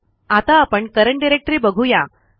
आता आपण current directory बघू या